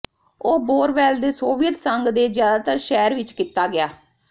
ਉਹ ਬੋਰਵੈਲ ਦੇ ਸੋਵੀਅਤ ਸੰਘ ਦੇ ਜ਼ਿਆਦਾਤਰ ਸ਼ਹਿਰ ਵਿਚ ਕੀਤਾ ਗਿਆ